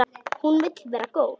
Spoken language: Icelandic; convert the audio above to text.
Hún vill vera góð.